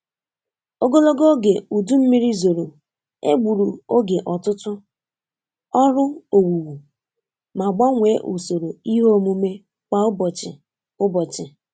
Ogologo oge udu mmiri zoro egburu oge ọtụtụ ọrụ owuwu ma gbanwee usoro ihe omume kwa ụbọchị. ụbọchị.